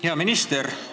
Hea minister!